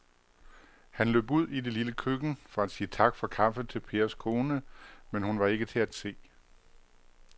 Han løb ud i det lille køkken for at sige tak for kaffe til Pers kone, men hun var ikke til at se.